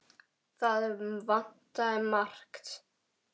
Það vantaði margt.